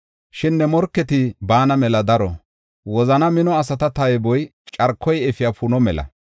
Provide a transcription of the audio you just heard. Shin ne morketi baana mela daro; wozana mino asata tayboy carkoy efiya puno mela.